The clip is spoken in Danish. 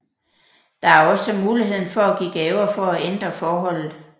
Der er også muligheden for at give gaver for at ændre forholdet